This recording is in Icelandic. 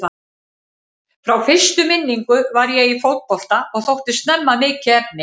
Frá fyrstu minningu var ég í fótbolta og þótti snemma mikið efni.